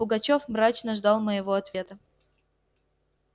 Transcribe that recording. пугачёв мрачно ждал моего ответа